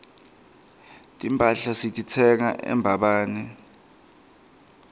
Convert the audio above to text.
timphahla sititsenga embabane